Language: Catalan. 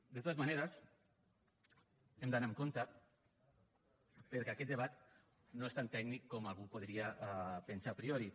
de totes maneres hem d’anar amb compte perquè aquest debat no és tan tècnic com algú podria pensar a priori